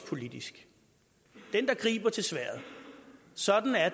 politisk den der griber til sværd sådan er